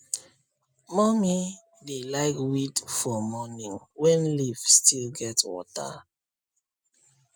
mummy dey like weed for morning when leaf still get water